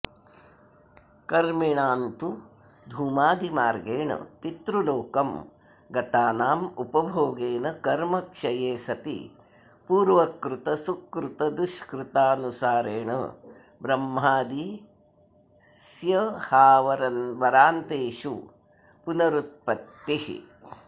कर्मिणान्तु धूमादिमार्गेण पितृलोकं गतानामुपभोगेन कर्मक्षये सति पूर्वकृतसुकृतदुष्कृतानुसारेण ब्रह्मादिस्य्हावरान्तेषु पुनरुत्पत्तिः